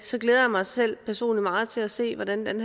så glæder jeg mig selv personligt meget til at se hvordan den